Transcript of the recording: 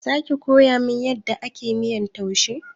Zaki koyamin yadda ake miyar taushe?